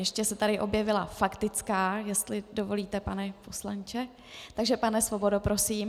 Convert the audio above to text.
Ještě se tady objevila faktická, jestli dovolíte, pane poslanče, takže, pane Svobodo, prosím.